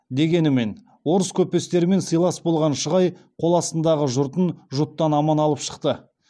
дегенмен орыс көпестерімен сыйлас болған шығай қол астындағы жұртын жұттан аман алып шықты